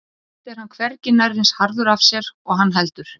Samt er hann hvergi nærri eins harður af sér og hann heldur.